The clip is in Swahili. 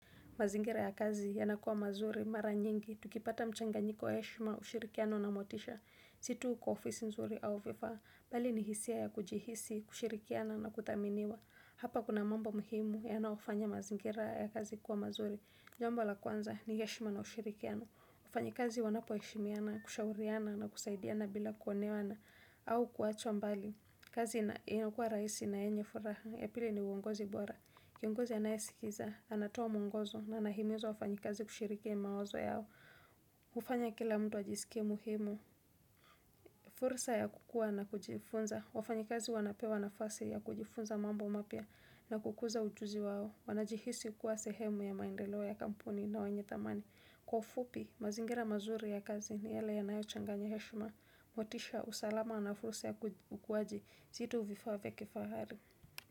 Mazingira ya kazi yanakua mazuri, mara nyingi, tukipata mchanganyiko wa heshima, ushirikiano na motisha. Si tu kwa ofisi nzuri au vifaa, bali ni hisia ya kujihisi, kushirikiana na kuthaminiwa. Hapa kuna mambo muhimu yanayofanya mazingira ya kazi kuwa mazuri. Jambo la kwanza ni heshima na ushirikiano. Wafanyi kazi wanapoheshimiana, kushauriana na kusaidiana bila kuoneana, au kuachwa mbali. Kazi inakua rahisi na yenye furaha, ya pili ni uongozi bora. Kiongozi anayesikiza, anatoa mwongozo na anahimiza wafanyikazi kushiriki mawazo yao hufanya kila mtu ajisike muhimu fursa ya kukua na kujifunza wafanyikazi wanapewa nafasi ya kujifunza mambo mapya na kukuza ujuzi wao Wanajihisi kuwa sehemu ya maendeleo ya kampuni na wenye dhamani Kwa ufupi, mazingira mazuri ya kazi ni yale yanayo changa heshma motisha usalama na fursa ya ukuwaji si tu vifaa vya kifahari.